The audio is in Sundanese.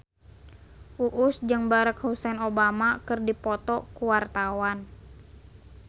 Uus jeung Barack Hussein Obama keur dipoto ku wartawan